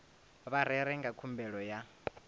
vha rere nga khumbelo ya